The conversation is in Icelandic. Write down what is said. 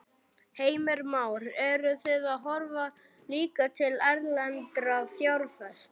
Heimir Már: Eruð þið að horfa líka til erlendra fjárfesta?